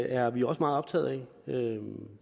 er vi også meget optaget af